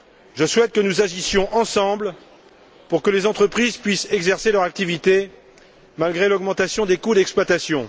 Je souhaite que nous agissions ensemble pour que les entreprises puissent exercer leur activité malgré l'augmentation des coûts d'exploitation.